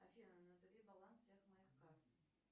афина назови баланс всех моих карт